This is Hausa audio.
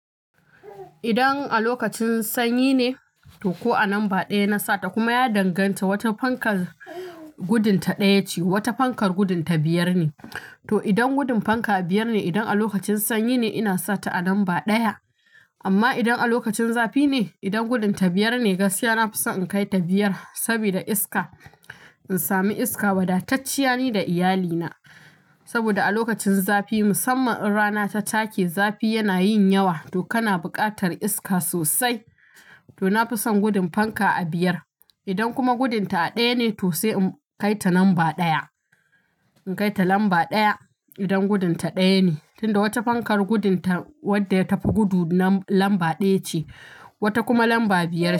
Idan a lokacin sanyi ne to ko a lambar ɗaya na sata kuma ya danganta, wata fankar gudun ta ɗaya ce, wata fankar gudun ta biyar ne. To idan gudun fanka a biyar ne, idan a lokacin sanyi ne ina sata a lambar ɗaya. Amma idan a lokacin zafi ne, idan gudun ta biyar ne, gaskiya na fi son in kai ta biyar sabida iska. In sami iska, wadatacce ne da iyalina. Saboda a lokacin zafi musamman in rana ta take zafi yana yin yawa to kana buƙatar iska sosai. To na fi son gudun fanka a biyar. Idan kuma gudun ta a ɗaya ne to sai in kai ta lamba ɗaya. In kai ta lamba ɗaya idan gudun ta ɗaya ne, tunda wata fankar gudun ta wadda ya tafi gudu lam-lamba ɗaya ce, wata kuma lamba biyar ce.